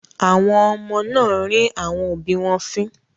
Àwọn ọmọ náà rín àwọn òbí wọn fín.